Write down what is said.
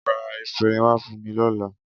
Ra efinrin wá fún mi lọ́la.